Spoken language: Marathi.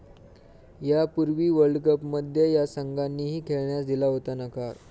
यापूर्वी वर्ल्डकपमध्ये या संघांनीही खेळण्यास दिला होता नकार